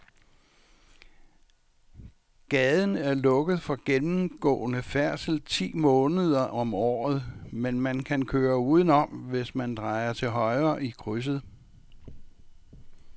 Gaden er lukket for gennemgående færdsel ti måneder om året, men man kan køre udenom, hvis man drejer til højre i krydset.